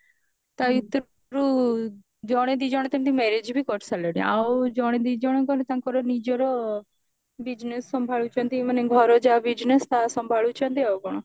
ତା ଭିତରୁ ଜଣେ ଦି ଜଣ ତ ଏମିତି marriage ବି କରିସାରିଲେଣି ଆଉ ଜଣେ ଦି ଜଣ ଖଣ୍ଡେ ତାଙ୍କର ନିଜର business ସମ୍ଭାଳୁଛନ୍ତି ମାନେ ଘର ଯାହା business ତାହା ସମ୍ଭାଳୁଛନ୍ତି ଆଉ କଣ